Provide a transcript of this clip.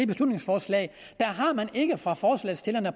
beslutningsforslag har man ikke fra forslagsstillernes